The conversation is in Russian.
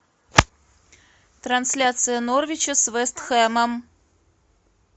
трансляция норвича с вест хэмом